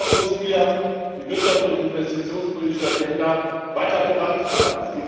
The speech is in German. Dennoch müssen wir die wirtschafts und investitionspolitische Agenda weiter vorantreiben.